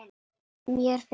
mér finnst